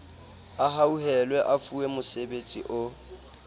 a hauhelwe a fuwemosebetsi o